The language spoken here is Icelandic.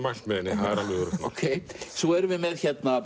mælt með henni það er alveg öruggt mál svo erum við með